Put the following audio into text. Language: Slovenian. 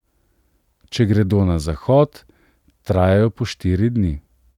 Če gredo na zahod, trajajo po štiri dni.